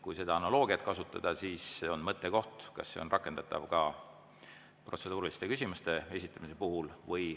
Kui seda analoogiat kasutada, siis see on mõttekoht, kas see on rakendatav ka protseduuriliste küsimuste esitamise puhul.